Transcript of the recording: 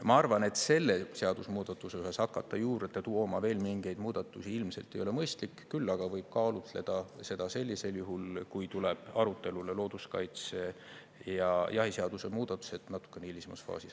Ma arvan, et selle seadusemuudatuse juures hakata juurde tooma veel mingeid muudatusi ilmselt ei ole mõistlik, küll aga võib kaalutleda seda sellisel juhul, kui tuleb arutelule looduskaitseseaduse ja jahiseaduse muutmine, natukene hilisemas faasis.